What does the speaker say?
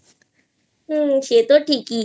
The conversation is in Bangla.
হুম্ সেতো ঠিকই